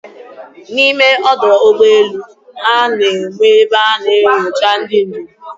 N'ime ọdọ ụgbọelu, a na-enwe ebe a na-enyocha ndị njem.